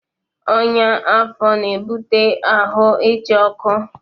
Ọnya afọ na-ebute ahụ ịcha ọkụ.